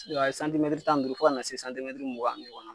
ka kɛ tan duuru fo ka na se mugan ani